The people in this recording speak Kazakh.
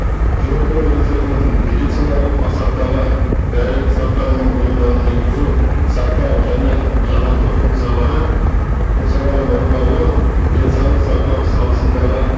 жұмылдыру резервінің медициналық мақсаттағы дәрілік заттары мен бұйымдарын жеткізу сақтау және жаңарту функциялары функцияларын орындалуы десаулық сақтау саласындағы